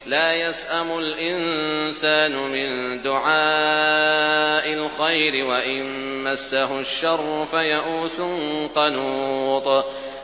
لَّا يَسْأَمُ الْإِنسَانُ مِن دُعَاءِ الْخَيْرِ وَإِن مَّسَّهُ الشَّرُّ فَيَئُوسٌ قَنُوطٌ